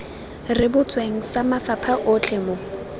rebotsweng sa mafapha otlhe mo